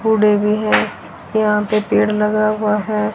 कूड़े भी हैं यहां पे पेड़ लगा हुआ है।